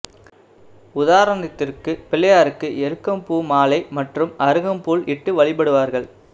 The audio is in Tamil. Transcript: உதாரணத்திற்கு பிள்ளையார்க்கு எருக்கம் பூ மாலை மற்றும் அருகம் புல் இட்டு வழிபடுவார்கள்